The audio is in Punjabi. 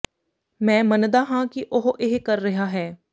ਮੈਂ ਮੰਨਦਾ ਹਾਂ ਕਿ ਉਹ ਇਹ ਕਰ ਰਿਹਾ ਹੈ